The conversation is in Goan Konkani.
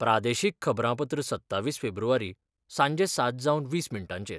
प्रादेशीक खबरांपत्र सत्तावीस फेब्रुवारी, सांजे सात जावन वीस मिनटांचेर